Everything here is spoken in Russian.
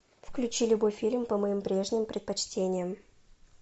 включи любой фильм по моим прежним предпочтениям